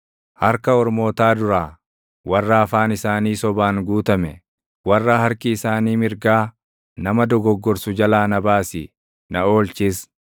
Harka Ormootaa duraa, warra afaan isaanii sobaan guutame, warra harki isaanii mirgaa nama dogoggorsu jalaa na baasi; na oolchis.